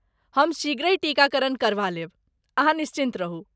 हम शीघ्रहि टीकाकरण करबा लेब, अहाँ निश्चिन्त रहू।